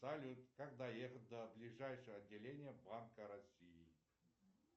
салют как доехать до ближайшего отделения банка россии